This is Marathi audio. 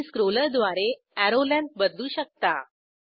तुम्ही स्क्रोलरद्वारे एरो लेंग्थ बदलू शकता